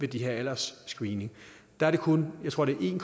her aldersscreening er det kun tror jeg en